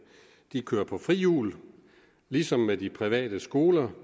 kører på frihjul ligesom med de private skoler